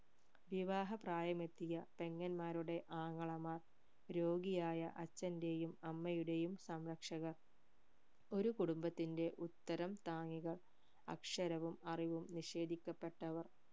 വിവാഹ പ്രായമെത്തിയ പെങ്ങന്മാരുടെ ആങ്ങളമാർ രോഗിയായ അച്ഛൻറെയും അമ്മയുടെയും സംരക്ഷകർ ഒരു കുടുംബത്തിന്റെ ഉത്തരം താങ്ങികർ അക്ഷരവും അറിവും നിഷേധിക്കപെട്ടവർ